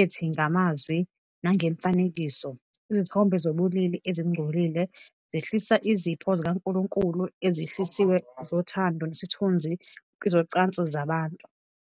ethi, "Ngamazwi nangemifanekiso, izithombe zobulili ezingcolile zehlisa izipho zikaNkulunkulu ezihlosiwe zothando nesithunzi kwezocansi zabantu.